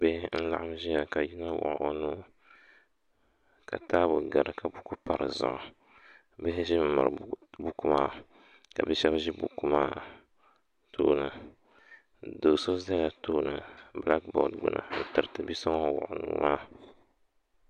bihi laɣim n ʒia ka yino wuɣi o nuu ka taabo gari ka buku pa di zuɣu bihi ʒimi miri buku maa ka bi' shɛba ʒi buku maa tooni do' so zala tooni bilaaki boori gbini n-tiriti bi' so ŋun wuɣi o nuu maa